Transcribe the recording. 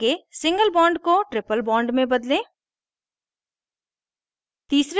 आगे single bond को triple bond में बदलें